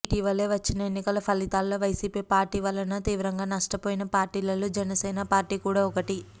ఇటీవలే వచ్చిన ఎన్నికల ఫలితాలలో వైసీపీ పార్టీ వలన తీవ్రంగా నష్టపోయిన పార్టీలలో జనసేన పార్టీ కూడా ఒకటి